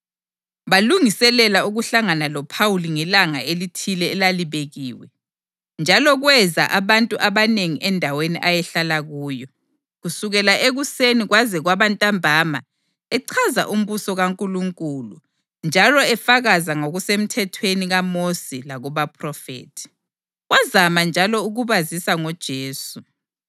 Balungiselela ukuhlangana loPhawuli ngelanga elithile elalibekiwe, njalo kweza abantu abanengi endaweni ayehlala kuyo. Kusukela ekuseni kwaze kwaba ntambama echaza umbuso kaNkulunkulu njalo efakaza ngokuseMthethweni kaMosi lakubaPhrofethi. Wazama njalo ukubazisa ngoJesu